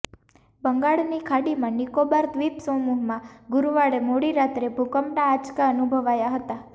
બંગાળની ખાડીમાં નિકોબાર દ્વીપ સમૂહમાં ગુરૂવારે મોડી રાત્રે ભૂકંપના આંચકા અનુભવાયા હતા